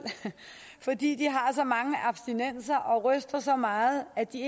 fordi de har så mange abstinenser og ryster så meget at de